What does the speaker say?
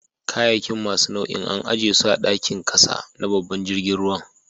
Kayakin masu nau'in an ajie su a'dakin kasa na babban jirigin ruwan.